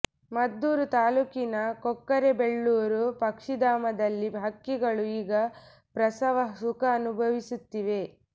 ಮದ್ದೂರು ತಾಲ್ಲೂಕಿನ ಕೊಕ್ಕರೆಬೆಳ್ಳೂರು ಪಕ್ಷಿಧಾಮದಲ್ಲಿ ಹಕ್ಕಿಗಳು ಈಗ ಪ್ರಸವ ಸುಖ ಅನುಭವಿಸುತ್ತಿವೆ